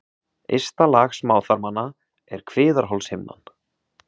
Ysta lag smáþarmanna er kviðarholshimnan.